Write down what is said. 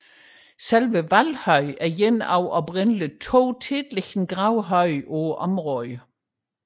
Selve Valhøj er en af oprindeligt 2 tætliggende gravhøje på området